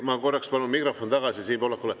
Ma korraks palun mikrofoni tagasi Siim Pohlakule.